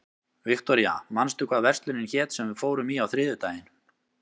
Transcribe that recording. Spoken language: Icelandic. Viktoria, manstu hvað verslunin hét sem við fórum í á þriðjudaginn?